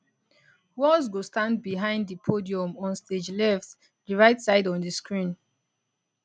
walz go stand behind di podium on stage left di right side on di screen